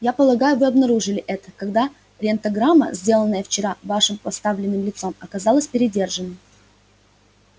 я полагаю вы обнаружили это когда рентгенограмма сделанная вчера вашим подставным лицом оказалась передержанной